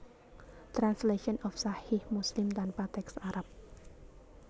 Translation of Sahih Muslim tanpa teks Arab